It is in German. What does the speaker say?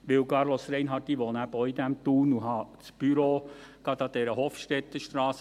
Denn, Carlos Reinhard, ich wohne eben auch in Thun und habe mein Büro gerade an der Hofstettenstrasse.